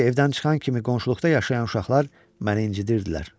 Çünki evdən çıxan kimi qonşuluqda yaşayan uşaqlar məni incidirdilər.